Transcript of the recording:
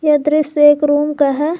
ये दृश्य एक रूम का है।